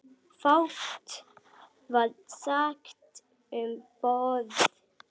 Fátt var sagt um borð.